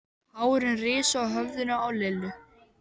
Hárin risu á höfðinu á Lillu.